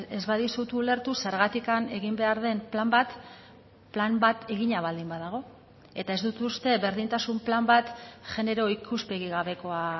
ez badizut ulertu zergatik egin behar den plan bat plan bat egina baldin badago eta ez dut uste berdintasun plan bat genero ikuspegi gabekoa